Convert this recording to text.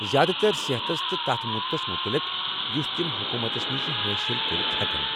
زیادٕ تر صحتس تہٕ تتھ مدتس متعلق یٗس تم حکومتس نِشہٕ حٲصل کٔرِتھ ہیكن ۔